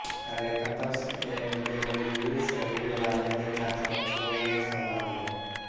rectus abdominis रीढ़ वाले अधिकांश पशुओं में समान है